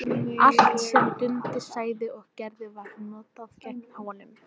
Allt sem Dundi sagði og gerði var notað gegn honum.